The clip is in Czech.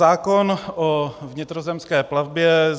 Zákon o vnitrozemské plavbě.